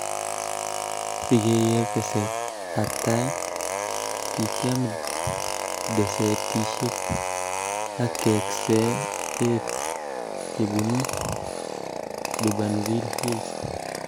Si keker teset ab tai ,kikiam desetishek ak keekse eet chebunu Durbanville Hills